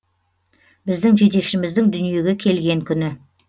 біздің жетекшіміздің дүниеге келген күні